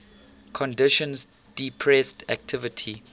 conditions depressed activity